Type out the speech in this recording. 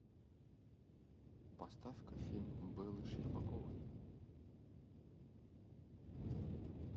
поставь ка фильм беллы щербаковой